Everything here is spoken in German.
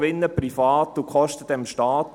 «Gewinne privat und Kosten dem Staat».